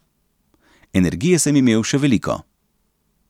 Energije sem imel še veliko.